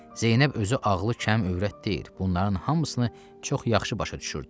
Zeynəb özü ağlı kəm övrət deyil, bunların hamısını çox yaxşı başa düşürdü.